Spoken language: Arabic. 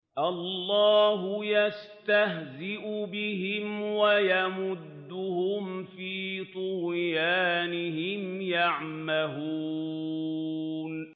اللَّهُ يَسْتَهْزِئُ بِهِمْ وَيَمُدُّهُمْ فِي طُغْيَانِهِمْ يَعْمَهُونَ